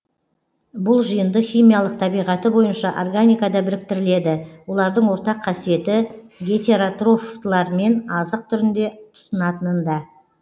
бұл жиынды химиялық табиғаты бойынша органикада біріктіріледі олардың ортақ қасиеті гетеротрофтылармен азық түрінде тұтынатынында